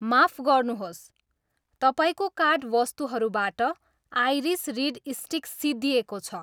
माफ गर्नुहोस्, तपाईँको कार्ट वस्तुहरूबाट आइरिस रिड स्टिक सिद्धिएको छ